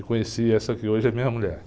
E conheci essa que hoje é minha mulher.